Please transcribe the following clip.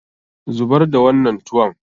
Zubar da wannan tuwon!